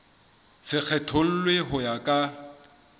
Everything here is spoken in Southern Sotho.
se kgethollwe ho ya ka